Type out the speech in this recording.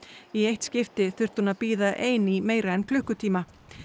í eitt skipti þurfti hún að bíða ein í meira en klukkutíma